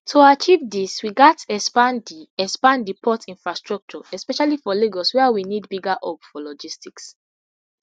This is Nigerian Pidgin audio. to achieve dis we gatz expand di expand di port infrastructure especially for lagos wia we need bigger hub for logistics